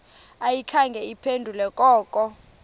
ayikhange iphendule koko